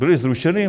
Byla zrušena?